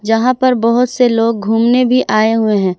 जहां पर बहुत से लोग घूमने भी आए हुए हैं।